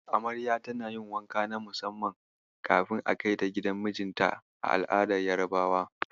Amarya tana yin wanka na musamman kafin a kaita gidan mijinta a al'adar Yarabawa.